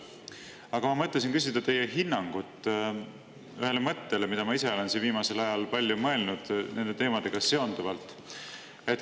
Aga ma mõtlesin küsida teie hinnangut ühele mõttele, mida ma ise olen viimasel ajal palju mõelnud nende teemadega seonduvalt.